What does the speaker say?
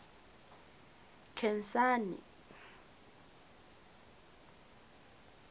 khensani